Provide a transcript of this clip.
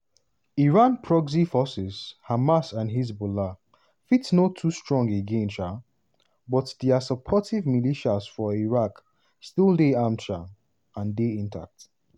iran proxy forces - hamas and hezbollah – fit no too strong again um but dia supportive militias for iraq still dey armed um and dey intact.